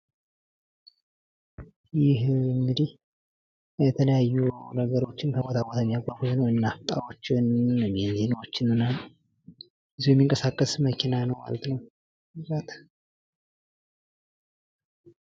ይህ እንግዲህ የተለያዩ ነገሮችን ከቦታ ቦታ የሚያጓጉዝ ነው ።ናፍጣዎችን፣ ቤንዚኖችን ምናምን ይዞ ሚንቀሳቀስ መኪና ነው ማለት ነው ።